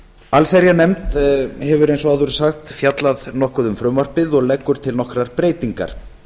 allsherjarnefnd hefur eins og áður er sagt fjallað nokkuð um frumvarpið og leggur til nokkrar breytingar